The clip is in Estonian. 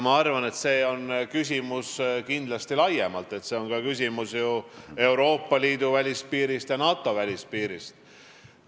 Ma arvan, et see on kindlasti laiem küsimus, see on ka ju küsimus Euroopa Liidu ja NATO välispiirist.